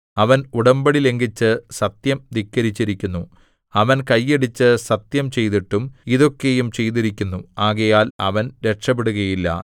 അവൻ ഉടമ്പടി ലംഘിച്ച് സത്യം ധിക്കരിച്ചിരിക്കുന്നു അവൻ കൈയടിച്ച് സത്യം ചെയ്തിട്ടും ഇതൊക്കെയും ചെയ്തിരിക്കുന്നു ആകയാൽ അവൻ രക്ഷപെടുകയില്ല